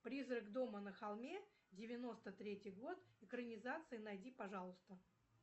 призрак дома на холме девяносто третий год экранизация найди пожалуйста